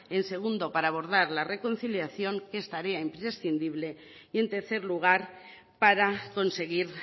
en segundo para abordar la reconciliación que es tarea imprescindible y en tercer lugar para conseguir